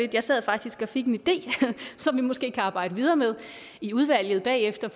jeg sad faktisk og fik en idé som vi måske kan arbejde videre med i udvalget bagefter